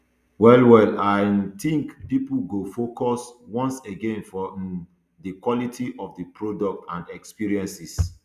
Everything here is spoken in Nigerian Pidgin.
well well i um tink pipo go focus once again for um di quality of di product and experiences